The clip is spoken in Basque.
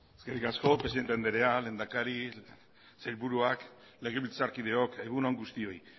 zurea da hitza eskerrik asko presidente andrea lehendakari sailburuak legebiltzarkideok egun on guztioi